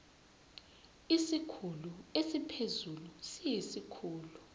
isikhulu esiphezulu siyisikhulu